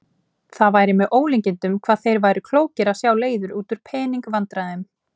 Það væri með ólíkindum hvað þeir væru klókir að sjá leiðir út úr pening- vandræðum.